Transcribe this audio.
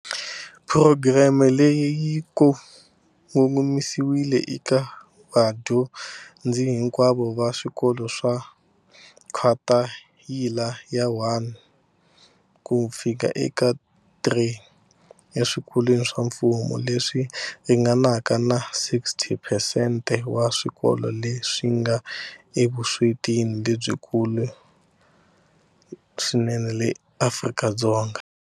Phurogireme leyi yi ko- ngomisiwile eka vadyo- ndzi hinkwavo va swikolo swa khwathayila ya 1 ku fika eka 3 eswikolweni swa mfumo, leswi ringanaka na 60 phesente wa swikolo leswi nga evuswetini lebyikulu swinene eAfrika-Dzonga.